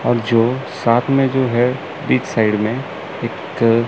और जो साथ मे जो है बीच साइड में इक--